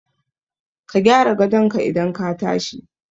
Ka gyara gadon ka idan ka tashi